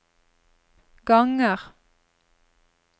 ganger